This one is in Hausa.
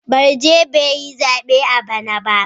Barje bai yi zabe a bana ba.